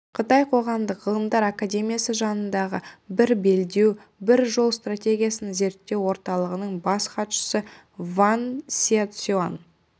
қытай қоғамдық ғылымдар академиясы жанындағы бір белдеу бір жол стратегиясын зерттеу орталығының бас хатшысы ван сяоцюань